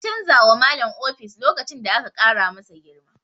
An canza wa Malam ofis lokacin da aka ƙara masa girma.